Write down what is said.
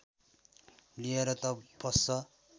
लिएर त पस्छ